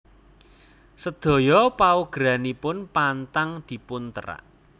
Sedaya paugeranipun pantang dipunterak